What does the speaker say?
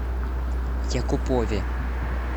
якупове